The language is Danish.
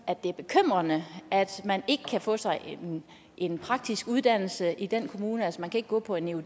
at det er bekymrende at man ikke kan få sig en praktisk uddannelse i den kommune altså man kan ikke gå på en eud